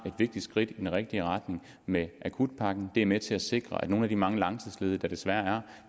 vigtigt skridt i den rigtige retning med akutpakken det er med til at sikre at nogle af de mange langtidsledige der desværre